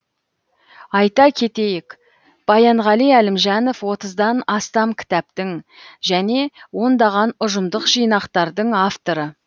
айта кетейік баянғали әлімжанов отыздан астам кітаптың және ондаған ұжымдық жинақтардың авторы